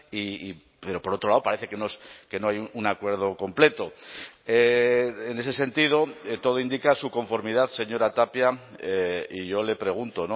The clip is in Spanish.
y pero por otro lado parece que no hay un acuerdo completo en ese sentido todo indica su conformidad señora tapia y yo le pregunto